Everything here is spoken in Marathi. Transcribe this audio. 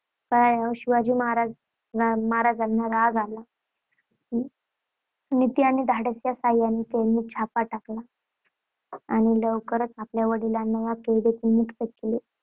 कळल्यावर शिवाजीं महाराज शिवाजी महाराजांना, ना राग आला. नीती आणि धाडस याच्या सहाय्याने त्यांनी छापा टाकला आणि लवकरच आपल्या वडिलांना या कैदेतून मुक्त केले. तेव्हा